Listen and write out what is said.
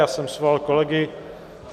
Já jsem svolal kolegy.